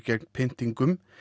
gegn pyntingum